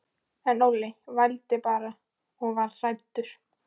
En Óli vældi bara og var hræddur.